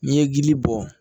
N'i ye gili bɔ